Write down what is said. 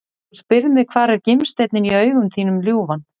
Þú spyrð mig hvar er gimsteinninn í augum þínum ljúfan?